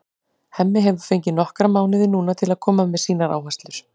Hemmi hefur fengið nokkra mánuði núna til að koma með sínar áherslur.